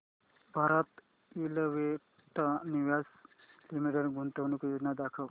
Bharat electronics limited गुंतवणूक योजना दाखव